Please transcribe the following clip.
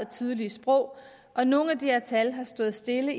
tydelige sprog og nogle af de her tal har stået stille